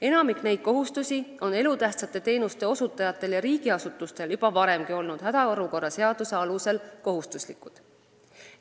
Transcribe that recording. Enamik neist nõuetest on elutähtsate teenuste osutajatel ja riigiasutustel juba varemgi olnud hädaolukorra seaduse alusel kohustuslikud.